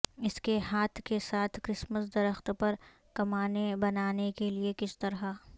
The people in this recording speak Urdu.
اس کے ہاتھ کے ساتھ کرسمس درخت پر کمانیں بنانے کے لئے کس طرح